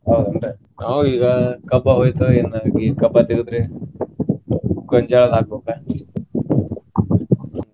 ಹೌದ್ ಏನ್ರೀ ನಾವು ಈಗ ಕಬ್ಬ ಹೋಯ್ತು ಇನ್ನ್ ಈ ಕಬ್ಬಾ ತೆಗದ್ರಿ ಗೊಂಜ್ಯಾಳದು ಹಾಕ್ಬೇಕ.